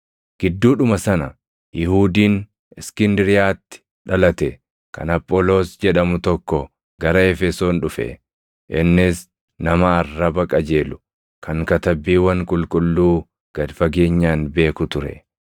Gidduudhuma sana Yihuudiin Iskindiriyaatti dhalate kan Apholoos jedhamu tokko gara Efesoon dhufe; innis nama arraba qajeelu, kan Katabbiiwwan Qulqulluu gad fageenyaan beeku ture.